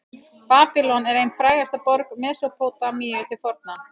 babýlon er ein frægasta borg mesópótamíu til forna